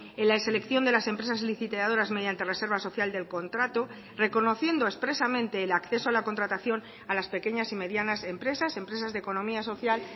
en la selección de las empresas licitadoras mediante reserva social del contrato reconociendo expresamente el acceso a la contratación a las pequeñas y medianas empresas empresas de economía social